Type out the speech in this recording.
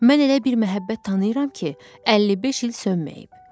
Mən elə bir məhəbbət tanıyıram ki, 55 il sönməyib.